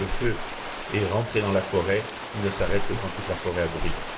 Quand le feu est rentré dans la forêt, il ne s'arrête que quand toute la forêt a brûlé.